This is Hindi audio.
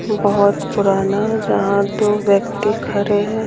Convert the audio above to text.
बहुत पुराना जहाँ दो व्यक्ति खड़े हैं।